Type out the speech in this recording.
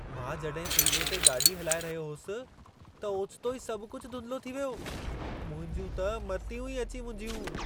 मां जॾहिं फ़्रीवे ते गाॾी हलाए रहियो होसि, त ओचितो ई सभ कुझु धुंधिलो थी वियो। मुंहिंजूं त मतियूं ई अची मुंझियूं।